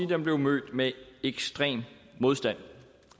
den blev mødt med ekstrem modstand